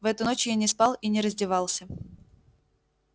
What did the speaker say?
в эту ночь я не спал и не раздевался